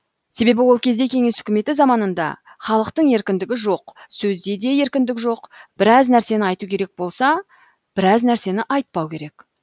себебі ол кезде кеңес үкіметі заманында халықтың еркіндігі жоқ сөзде де еркіндік жоқ біраз нәрсені айту керек болса біраз нәрсені айтпау керек